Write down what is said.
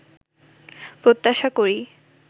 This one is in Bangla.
প্রত্যাশা করি